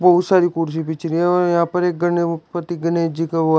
बहुत सारी कुर्सी बीछ रही हैं और यहां पर पति गणेश जी रखा हुआ है।